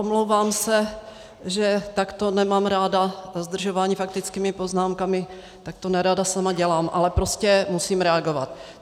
Omlouvám se, že takto nemám ráda zdržování faktickými poznámkami, tak to nerada sama dělám, ale prostě musím reagovat.